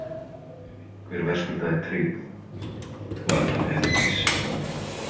Ef einhver verðskuldaði tryggð var það Herdís.